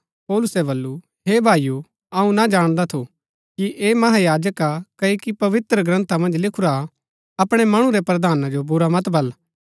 पौलुसै बल्लू हे भाईओ अऊँ ना जाणदा थु कि ऐह महायाजक हा क्ओकि पवित्रग्रन्था मन्ज लिखुरा हा अपणै मणु रै प्रधाना जो बुरा मत बल